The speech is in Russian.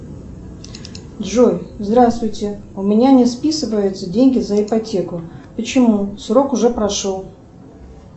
джой здравствуйте у меня не списываются деньги за ипотеку почему срок уже прошел